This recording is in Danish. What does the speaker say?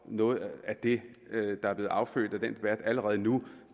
noget af det der er blevet affødt af den debat er allerede nu